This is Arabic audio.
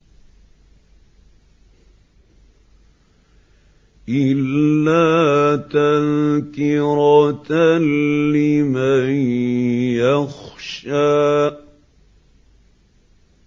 إِلَّا تَذْكِرَةً لِّمَن يَخْشَىٰ